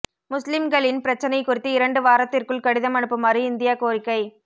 முஸ்லிம்களின் பிரச்சினை குறித்து இரண்டு வாரத்திற்குள் கடிதம் அனுப்புமாறு இந்தியா கோரிக்கை